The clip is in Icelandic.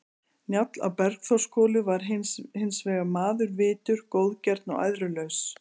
Njáll á Bergþórshvoli var hins vegar maður vitur, góðgjarn og æðrulaus.